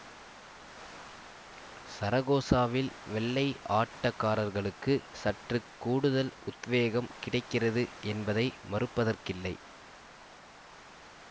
சரகோசாவில் வெள்ளை ஆட்டக்காரர்களுக்கு சற்று கூடுதல் உத்வேகம் கிடைக்கிறது என்பதை மறுப்பதற்கில்லை